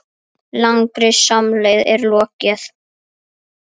Langri samleið er lokið.